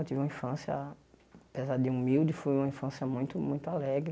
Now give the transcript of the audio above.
Eu tive uma infância, apesar de humilde, foi uma infância muito muito alegre.